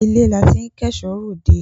Ilé la tí k'ẹ̀ṣọ́ r'òdẹ.